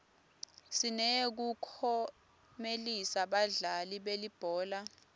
sineyekuklomelisa badlali belibhola